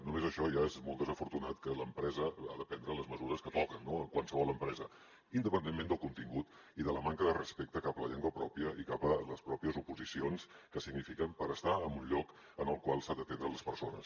només això ja és molt desafortunat que l’empresa ha de prendre les mesures que toquen en qualsevol empresa independentment del contingut i de la manca de respecte cap a la llengua pròpia i cap a les pròpies oposicions que signifiquen per estar en un lloc en el qual s’ha d’atendre les persones